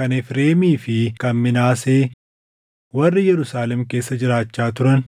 kan Efreemii fi kan Minaasee warri Yerusaalem keessa jiraachaa turan: